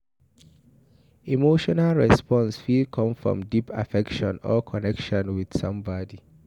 Emotional response fit come from deep affection or connection with somebody